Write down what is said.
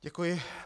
Děkuji.